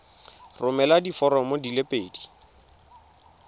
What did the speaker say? romela diforomo di le pedi